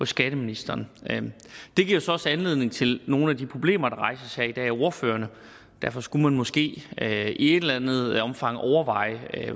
skatteministeren det giver så også anledning til nogle af de problemer der rejses her i dag af ordførerne derfor skulle man måske i et eller andet omfang overveje